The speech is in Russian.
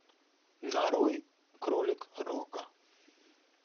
нарой кролик рока